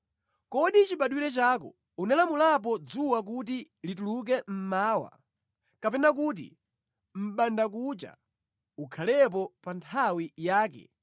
“Kodi chibadwire chako unalamulapo dzuwa kuti lituluke mmawa, kapena kuti mʼbandakucha ukhalepo pa nthawi yake,